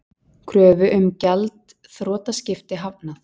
Kröfu um gjaldþrotaskipti hafnað